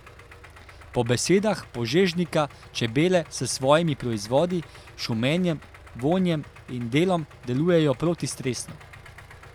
Po besedah Požežnika čebele s svojimi proizvodi, šumenjem, vonjem in delom delujejo protistresno.